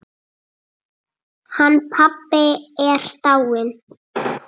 Hann pabbi er dáinn.